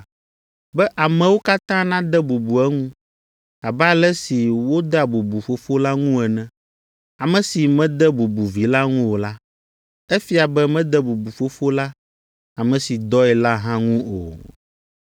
be amewo katã nade bubu eŋu abe ale si wodea bubu Fofo la ŋu ene. Ame si mede bubu Vi la ŋu o la, efia be mede bubu Fofo la, ame si dɔe la hã ŋu o.